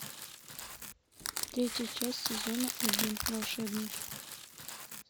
третья часть сезона один волшебники